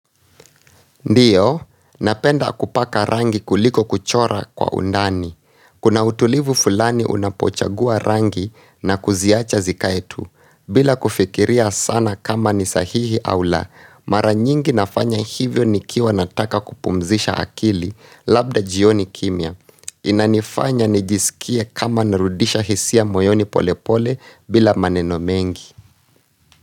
Ndiyo, napenda kupaka rangi kuliko kuchora kwa undani. Kuna utulivu fulani unapochagua rangi na kuziacha zikae tu. Bila kufikiria sana kama ni sahihi au la, mara nyingi nafanya hivyo ni kiwa nataka kupumzisha akili labda jioni kimya. Inanifanya nijisikie kama narudisha hisia moyoni polepole bila maneno mengi.